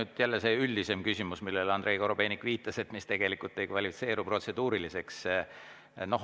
See on jälle see üldisem küsimus, millele Andrei Korobeinik viitas ja mis tegelikult ei kvalifitseeru protseduuriliseks.